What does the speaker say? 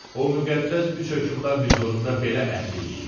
O müqəddəs üç hökmdar hüzurunda belə əhd eləyib.